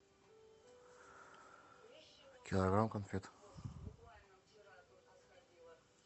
килограмм конфет